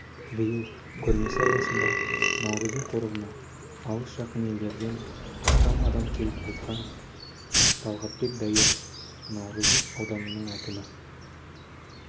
биыл көрмесі аясында наурызым қорығына алыс-жақын елдерден астам адам келіп қайтқан талғатбек даиров науырзым ауданының әкімі